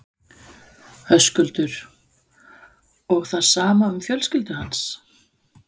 Höskuldur: Og það sama um fjölskyldu hans?